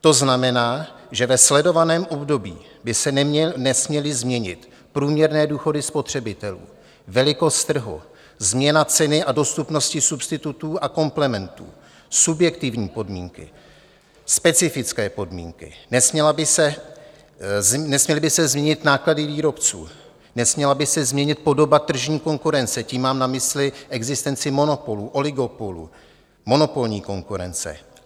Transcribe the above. To znamená, že ve sledovaném období by se nesměly změnit průměrné důchody spotřebitelů, velikost trhu, změna ceny a dostupnosti substitutů a komplementů, subjektivní podmínky, specifické podmínky, nesměly by se změnit náklady výrobců, nesměla by se změnit podoba tržní konkurence, tím mám na mysli existenci monopolů, oligopolů, monopolní konkurence.